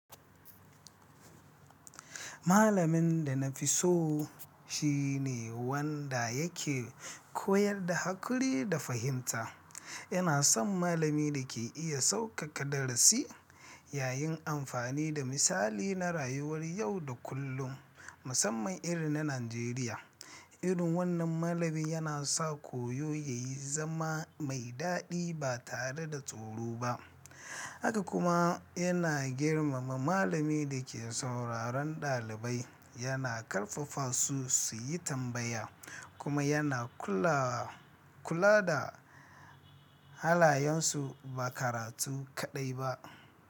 Malamin da na fi so shi ne wanda yake koyar da haƙuri da fahimta. Ina son malami da ke iya sauƙaƙa darasi yayin amfani da misali na rayuwar yau da kullum, musamman irin na Najeriya. Irin wannan malami yana sa koyo ya yi zama mai daɗi ba tare da tsoro ba. Haka kuma yana girmama malami da ke sauraron ɗalibai, yana ƙarfafa su su yi tambaya kuma yana kula da halayensu ba karatu kaɗai ba.